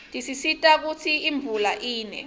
tisisita kutsi imvula ine